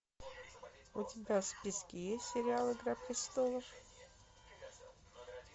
у тебя в списке есть сериал игра престолов